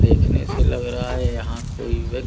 देखने से लग रहा है यहां कोई व्यक् --